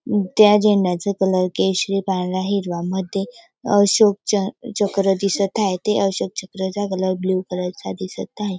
अ त्या झेंड्याचा कलर केशरी पांढरा हिरवा मध्ये अशोक च चक्र दिसत आहे ते अशोक चक्र चा कलर ब्ल्यू कलर चा दिसत आहे.